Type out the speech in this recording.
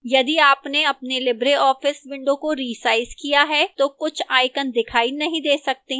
यदि आपने अपने libreoffice window को रिसाइज किया है तो कुछ icons दिखाई नहीं दे सकते हैं